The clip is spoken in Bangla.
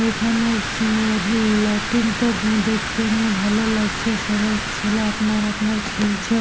এখানে সিনারি -র লাইটিং -টা উম দেখতে নিয়ে ভালো লাগছে সবাই ছেলা আপনার আপনার খেলছে।